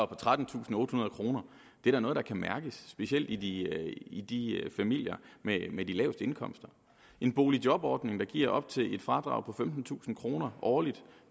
på trettentusinde og ottehundrede kroner er da noget der kan mærkes specielt i i de familier med med de laveste indkomster en boligjobordning der giver op til et fradrag på femtentusind kroner årligt